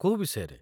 କୋଉ ବିଷୟରେ ?